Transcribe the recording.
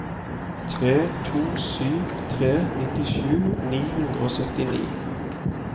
tre to sju tre nittisju ni hundre og syttini